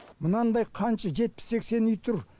мынандай қанша жетпіс сексен үй тұр